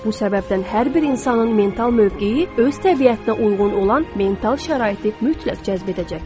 Bu səbəbdən hər bir insanın mental mövqeyi öz təbiətinə uyğun olan mental şəraiti mütləq cəzb edəcəkdir.